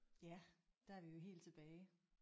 Ja der er vi jo helt tilbage